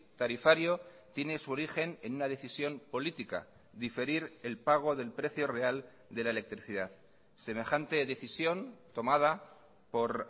tarifario tiene su origen en una decisión política diferir el pago del precio real de la electricidad semejante decisión tomada por